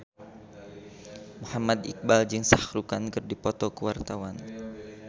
Muhammad Iqbal jeung Shah Rukh Khan keur dipoto ku wartawan